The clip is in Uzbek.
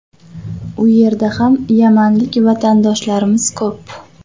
U yerda ham yamanlik vatandoshlarimiz ko‘p.